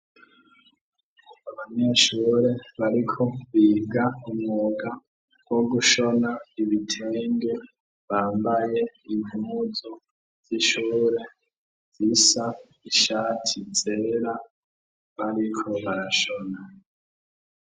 Abanyeshure bariko biga umwuga wo gushona ibitenge, bambaye impuzu z'ishure zisa, ishati zera bariko barashona.